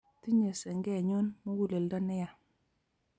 tinyei sengenyu muguleldo ne yaa